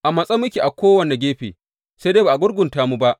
A matse muke a kowane gefe, sai dai ba a gurgunta mu ba.